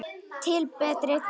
Til betri vegar.